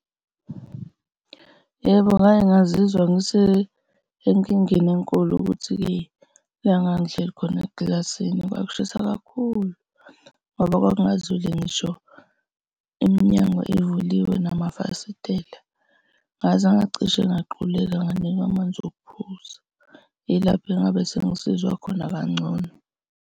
Yebo, ngake ngazizwa ngise enkingeni enkulu ukuthi-ke la ngangihleli khona ekilasini kwakushisa kakhulu ngoba kwakungazuli ngisho iminyango ivuliwe namafasitela ngaze ngacishe ngaquleka nganikwa amanzi okuphuza. Yilapho engabe sengizizwa khona kangcono.